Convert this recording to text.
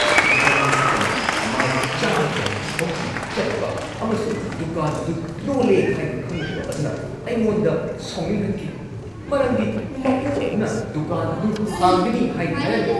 ꯗꯨꯀꯥꯟ ꯑꯁꯤ ꯇꯝꯅ ꯃꯥꯏꯜ ꯱꯰꯰ ꯒꯥꯔꯤ ꯊꯧꯗꯨꯅ ꯆꯠꯄ ꯑꯃꯁꯨꯡ ꯗꯨꯀꯥꯟ ꯑꯗꯨ ꯂꯣꯜꯂꯦ ꯍꯥꯏꯕ ꯈꯪꯂꯛꯄ ꯑꯗꯨꯅ ꯑꯩꯉꯣꯟꯗ ꯁꯥꯎꯅꯤꯡꯍꯟꯈꯤ ꯃꯔꯝꯗꯤ ꯃꯄꯨ ꯑꯗꯨꯅ ꯗꯨꯀꯥꯟ ꯑꯗꯨ ꯍꯥꯡꯒꯅꯤ ꯍꯥꯏꯅ ꯍꯥꯏꯔꯝꯃꯤ꯫